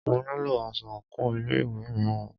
Mo nílo aṣọ àńkò ilé ìwé mìíràn.